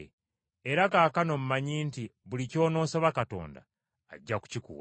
Era kaakano mmanyi nti buli ky’onoosaba Katonda, ajja kukikuwa.”